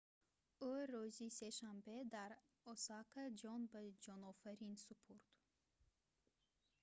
ӯ рӯзи сешанбе дар осака ҷон ба ҷонофарин супурд